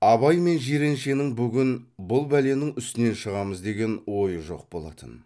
абай мен жиреншенің бүгін бұл бәленің үстінен шығамыз деген ойы жоқ болатын